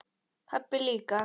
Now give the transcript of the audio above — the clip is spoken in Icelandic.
Pabbi líka.